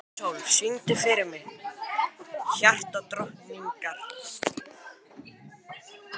Sæsól, syngdu fyrir mig „Hjartadrottningar“.